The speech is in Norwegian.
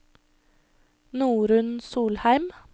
Norunn Solheim